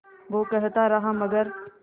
वो कहता रहा मगर